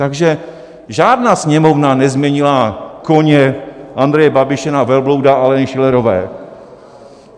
Takže žádná Sněmovna nezměnila koně Andreje Babiše na velblouda Aleny Schillerové.